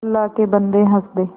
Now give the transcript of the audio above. अल्लाह के बन्दे हंस दे